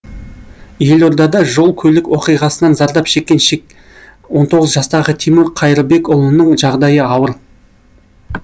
елордада жол көлік оқиғасынан зардап шеккен он тоғыз жастағы тимур қайрыбекұлының жағдайы ауыр